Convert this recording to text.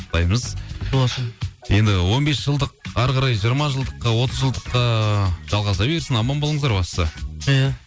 құттықтаймыз құтты болсын енді он бес жылдық әрі қарай жиырма жылдыққа отыз жылдыққа жалғаса берсін аман болыңыздар бастысы иә